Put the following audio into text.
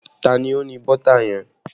Ta ni ó ní bọ́tà yẹn?